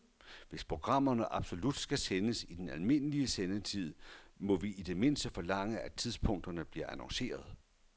Hvis programmerne absolut skal sendes i den almindelige sendetid, må vi i det mindste forlange, at tidspunkterne bliver annonceret.